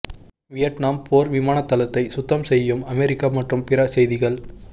Vietnam போர் விமானத்தளத்தை சுத்தம் செய்யும் அமெரிக்கா மற்றும் பிற செய்திகள்